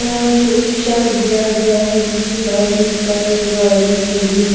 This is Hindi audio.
यहां से एक शर्ट दिया गया है जिसके आगे एक सफेद गाड़ी खड़ी है।